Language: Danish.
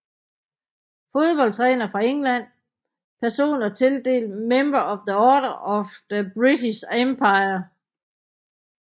Fodboldtrænere fra England Personer tildelt Member of the Order of the British Empire